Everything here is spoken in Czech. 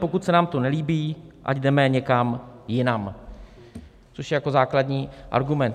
Pokud se nám to nelíbí, ať jdeme někam jinam, což je jako základní argument.